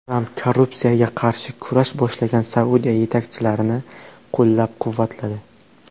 Tramp korrupsiyaga qarshi kurash boshlagan Saudiya yetakchilarini qo‘llab-quvvatladi.